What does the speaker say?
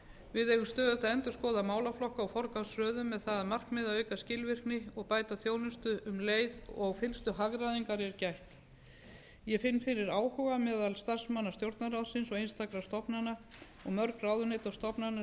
við eigum stöðugt að endurskoða málaflokka og forgangsröðun með það að markmiði að auka skilvirkni og bæta þjónustu um leið og fyllstu hagræðingar er gætt ég finn fyrir áhuga meðal starfsmanna stjórnarráðsins og einstakra stofnana og mörg ráðuneyti og stofnanir